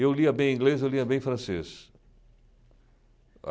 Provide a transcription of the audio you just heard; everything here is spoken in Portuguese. Eu lia bem inglês, eu lia bem francês.